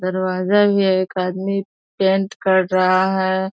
दरवाजा भी है एक आदमी पेंट कर रहा है।